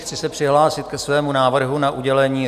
Chci se přihlásit ke svému návrhu na udělení